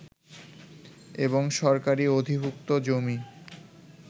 এবং সরকারি অধিভুক্ত জমি